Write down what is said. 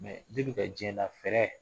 Mɛ depi ka diɲɛ dan fɛrɛ